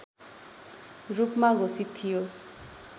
रूपमा घोषित थियो